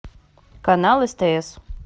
канал стс